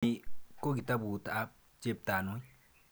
Ni ko kitaput ap Cheptanui.